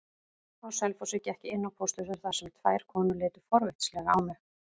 Á Selfossi gekk ég inn á pósthúsið þar sem tvær konur litu forvitnislega á mig.